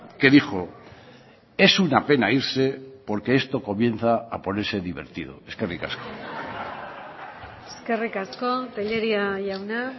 que dijo es una pena irse porque esto comienza a ponerse divertido eskerrik asko eskerrik asko tellería jauna